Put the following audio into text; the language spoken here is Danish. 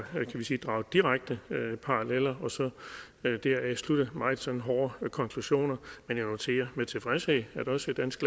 drage direkte paralleller og så deraf slutte meget sådan hårde konklusioner men jeg noterer med tilfredshed at også dansk